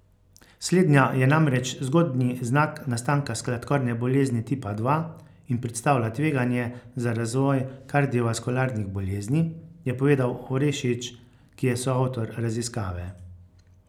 Slednja je namreč zgodnji znak nastanka sladkorne bolezni tipa dva in predstavlja tveganje za razvoj kardiovaskularnih bolezni, je povedal Orešič, ki je soavtor raziskave.